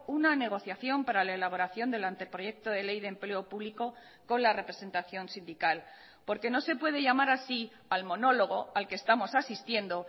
una negociación para la elaboración del anteproyecto de ley de empleo público con la representación sindical porque no se puede llamar así al monólogo al que estamos asistiendo